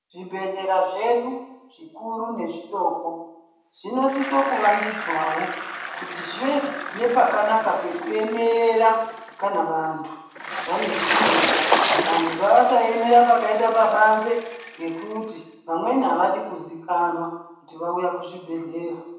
Zvibhedhlera zvedu zvikuru nezvidoko zvinosise kuvandudzwawo kuti zvive nepakanaka pekuemerera kana vantu vane zvitenda. Vantu ngavasaemera pakaita pabanze nekuti vamweni avadi kuziikana kuti vauya kuzvibhedhlera.